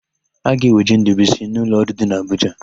A ga-eweje Ndụbụisi n'ụlọọrụ dị n'Abụja.